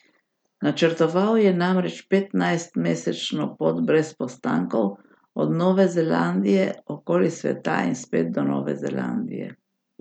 Načrtoval je namreč petnajstmesečno pot brez postankov, od Nove Zelandije okoli sveta in spet do Nove Zelandije.